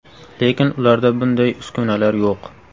Lekin ularda bunday uskunalar yo‘q.